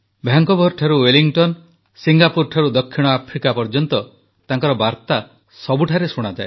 ଭାନକୋଭରଠାରୁ Wellington ସିଙ୍ଗାପୁରଠାରୁ ଦକ୍ଷିଣ Africa ପର୍ଯ୍ୟନ୍ତ ତାଙ୍କର ବାର୍ତା ସବୁଠାରେ ଶୁଣାଯାଏ